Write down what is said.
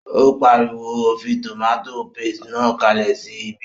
Ó pariwo, o fí tòmátò paste náà kalẹ̀ sí ibí!